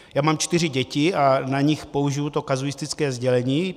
Já mám čtyři děti a na nich použiji to kazuistické sdělení.